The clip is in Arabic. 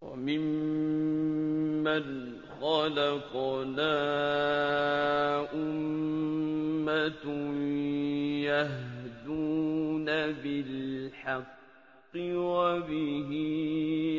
وَمِمَّنْ خَلَقْنَا أُمَّةٌ يَهْدُونَ بِالْحَقِّ وَبِهِ